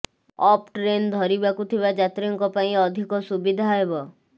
up train ଧରିବାକୁ ଥିବା ଯାତ୍ରୀଙ୍କ ପାଇଁ ଅଧିକ ସୁବିଧା ହେବ